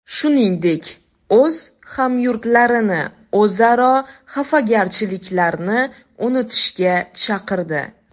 Shuningdek, o‘z hamyurtlarini o‘zaro xafagarchiliklarni unutishga chaqirdi.